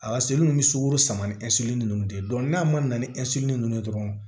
A ni sukoro sama ni ninnu de n'a man na ni ninnu ye dɔrɔn